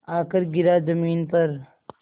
आकर गिरा ज़मीन पर